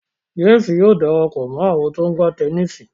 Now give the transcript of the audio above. James Yóò darapọ mọ àwọn to ńgba Tẹníìsì.